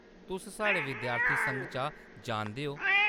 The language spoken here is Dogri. तुस साढ़े विद्यार्थी संघ चा जानदे ओ ?